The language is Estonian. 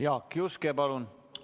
Jaak Juske, palun!